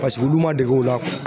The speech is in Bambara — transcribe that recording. olu ma dege o la